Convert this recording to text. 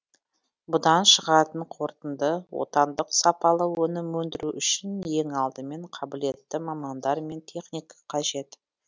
бұдан шығатын қортынды отандық сапалы өнім өндіру үшін ең алдымен қабілетті мамандар мен техника қажет